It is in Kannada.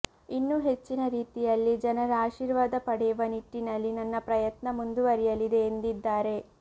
ಇನ್ನೂ ಹೆಚ್ಚಿನ ರೀತಿಯಲ್ಲಿ ಜನರ ಆಶೀರ್ವಾದ ಪಡೆಯುವ ನಿಟ್ಟಿನಲ್ಲಿ ನನ್ನ ಪ್ರಯತ್ನ ಮುಂದುವರಿಯಲಿದೆ ಎಂದಿದ್ದಾರೆ